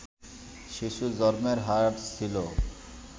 শিশু জন্মের হার ছিল